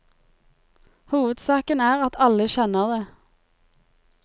Hovedsaken er at alle kjenner det.